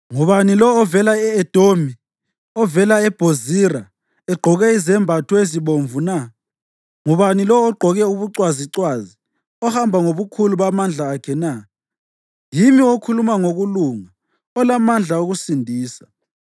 Ngubani lo ovela e-Edomi, ovela eBhozira egqoke izembatho ezibomvu na? Ngubani lo ogqoke ubucwazicwazi, ohamba ngobukhulu bamandla akhe na? “Yimi okhuluma ngokulunga, olamandla okusindisa.”